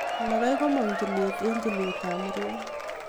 mayai komong tulwet eng tulet ab muriat